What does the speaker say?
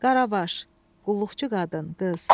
Qaravaş, qulluqçu qadın, qız.